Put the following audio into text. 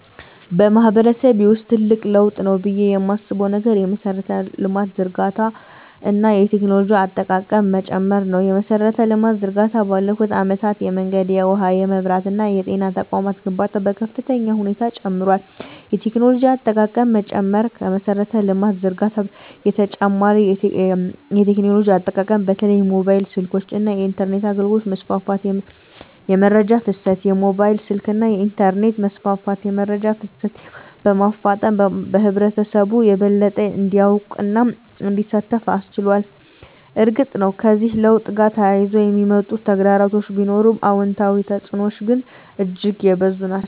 በማህበረሰቤ ውስጥ ትልቅ ለውጥ ነው ብዬ የማስበው ነገር የመሠረተ ልማት ዝርጋታ እና የቴክኖሎጂ አጠቃቀም መጨመር ነው። የመሠረተ ልማት ዝርጋታ ባለፉት አመታት የመንገድ፣ የውሃ፣ የመብራት እና የጤና ተቋማት ግንባታ በከፍተኛ ሁኔታ ጨምሯል። የቴክኖሎጂ አጠቃቀም መጨመር ከመሠረተ ልማት ዝርጋታ በተጨማሪ የቴክኖሎጂ አጠቃቀም በተለይም የሞባይል ስልኮች እና የኢንተርኔት አገልግሎት መስፋፋት። * የመረጃ ፍሰት: የሞባይል ስልክና የኢንተርኔት መስፋፋት የመረጃ ፍሰትን በማፋጠን ህብረተሰቡ የበለጠ እንዲያውቅና እንዲሳተፍ አስችሏል። እርግጥ ነው፣ ከዚህ ለውጥ ጋር ተያይዘው የሚመጡ ተግዳሮቶች ቢኖሩም፣ አዎንታዊ ተፅዕኖዎቹ ግን እጅግ የበዙ ናቸው።